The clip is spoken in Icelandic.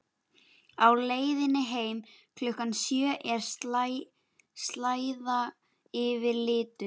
Á leiðinni heim klukkan sjö er slæða yfir litunum.